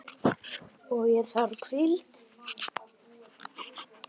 Og ég þarf hvíld.